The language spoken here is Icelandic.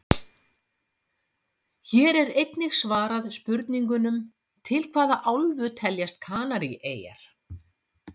Hér er einnig svarað spurningunum: Til hvaða álfu teljast Kanaríeyjar?